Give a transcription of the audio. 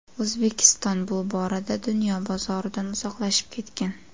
O‘zbekiston bu borada dunyo bozoridan uzoqlashib ketgan.